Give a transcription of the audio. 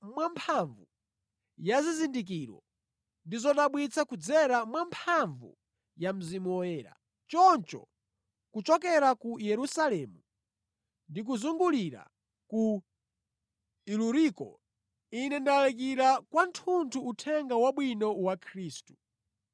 mwamphamvu ya zizindikiro ndi zodabwitsa kudzera mwamphamvu ya Mzimu Woyera. Choncho kuchokera ku Yerusalemu ndi kuzungulira ku Iluriko, ine ndalalikira kwathunthu Uthenga Wabwino wa Khristu.